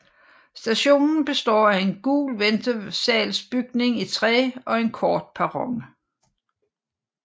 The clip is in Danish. Stationen består af en gul ventesalsbygning i træ og en kort perron